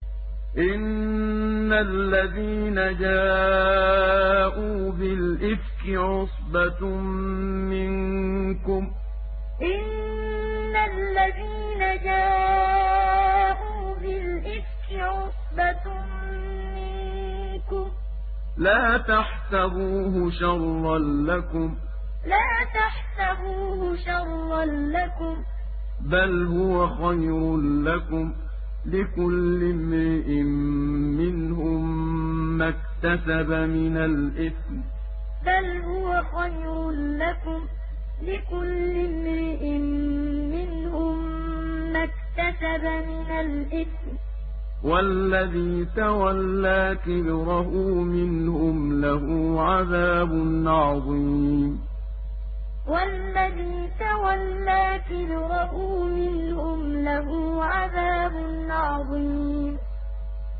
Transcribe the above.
إِنَّ الَّذِينَ جَاءُوا بِالْإِفْكِ عُصْبَةٌ مِّنكُمْ ۚ لَا تَحْسَبُوهُ شَرًّا لَّكُم ۖ بَلْ هُوَ خَيْرٌ لَّكُمْ ۚ لِكُلِّ امْرِئٍ مِّنْهُم مَّا اكْتَسَبَ مِنَ الْإِثْمِ ۚ وَالَّذِي تَوَلَّىٰ كِبْرَهُ مِنْهُمْ لَهُ عَذَابٌ عَظِيمٌ إِنَّ الَّذِينَ جَاءُوا بِالْإِفْكِ عُصْبَةٌ مِّنكُمْ ۚ لَا تَحْسَبُوهُ شَرًّا لَّكُم ۖ بَلْ هُوَ خَيْرٌ لَّكُمْ ۚ لِكُلِّ امْرِئٍ مِّنْهُم مَّا اكْتَسَبَ مِنَ الْإِثْمِ ۚ وَالَّذِي تَوَلَّىٰ كِبْرَهُ مِنْهُمْ لَهُ عَذَابٌ عَظِيمٌ